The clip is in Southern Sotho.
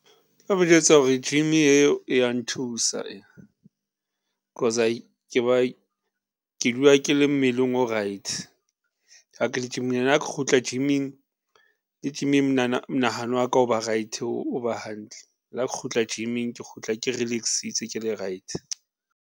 O mo jwetsa hore gym eo e ya nthusa cause ke dula ke le mmeleng o right . Ha ke kgutla gym-ing, le gym-ing monahano wa ka o ba right, o ba hantle, la kgutla gym-ing, ke kgutla ke relax-itse ke le right.